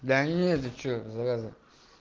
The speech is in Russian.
да нет ты что зараза